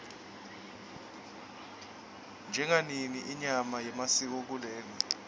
jagongoni inyanga yemasiko kuleli